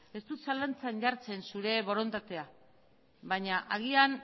ez dut zalantzan jartzen zure borondatea baina agian